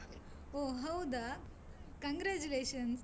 ಓ ಹೌದಾ. congratulations .